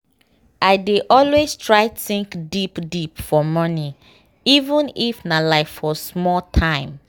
i dey always try think deep deep for morning even if nah like for small time.